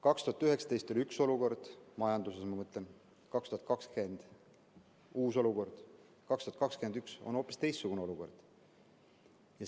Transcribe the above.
2019 oli üks olukord – majanduses, ma mõtlen –, 2020 oli uus olukord, 2021 on hoopis teistsugune olukord.